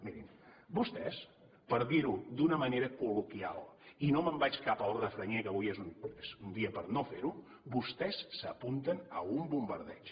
mirin vostès per dir ho d’una manera col·loquial i no me’n vaig cap al refranyer que avui és un dia per no ferho vostès s’apunten a un bombardeig